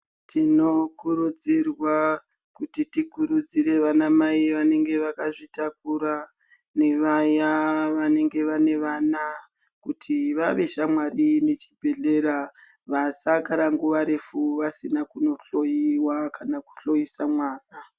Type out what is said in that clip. Tinokurudzirwa kuti tikurudzire vanamai vanenge vakazvitakura nevaya vanenge vane vana kuti vave shamwari nechibhehlera vasagara nguva refu vasina kunohloyiwa kan kuhloyisa mwana.